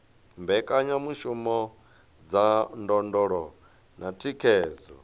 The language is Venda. mbekanyamishumo dza ndondolo na thikhedzo